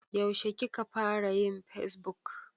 Yaushe ka fara yin fesbuk?